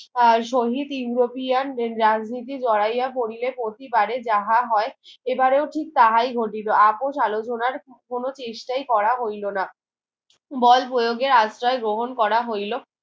আর শহীদ উরোপীয়ান রাজনীতি জড়াইয়া পড়িলে প্রতিবারে যাহা হয় এবারেও ঠিক তাহাই ঘটিত আপোষ আলোচনার কোনো চেষ্টাই করা হইলো না বল প্রয়োগের আশ্রয় গ্রহণ করা হইলো